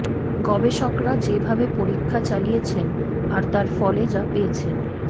গবেষকরা যে ভাবে পরীক্ষা চালিয়েছেন আর তার ফলে যা পেয়েছেন